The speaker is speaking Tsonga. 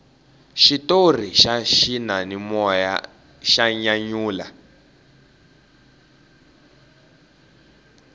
xitori xa xiyanimoya xa nyanyula